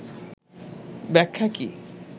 ব্যাখ্যা কী